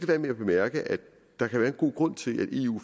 være med at bemærke at der kan være en god grund til at eu